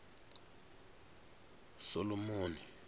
solomoni